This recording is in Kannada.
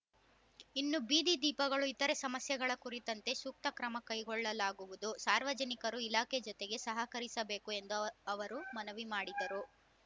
ಇನ್ನು ಬೀದಿ ದೀಪಗಳು ಇತರೆ ಸಮಸ್ಯೆಗಳ ಕುರಿತಂತೆ ಸೂಕ್ತ ಕ್ರಮ ಕೈಗೊಳ್ಳಲಾಗುವುದು ಸಾರ್ವಜನಿಕರೂ ಇಲಾಖೆ ಜೊತೆಗೆ ಸಹಕರಿಸಬೇಕು ಎಂದು ಅವ ಅವರು ಮನವಿ ಮಾಡಿದರು